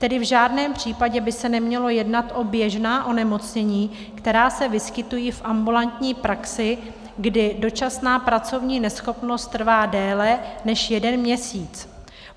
Tedy v žádném případě by se nemělo jednat o běžná onemocnění, která se vyskytují v ambulantní praxi, kdy dočasná pracovní neschopnost trvá déle než jeden měsíc.